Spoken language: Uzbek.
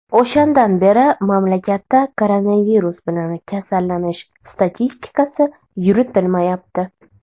O‘shandan beri mamlakatda koronavirus bilan kasallanish statistikasi yuritilmayapti.